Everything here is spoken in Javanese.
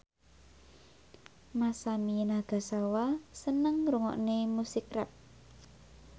Masami Nagasawa seneng ngrungokne musik rap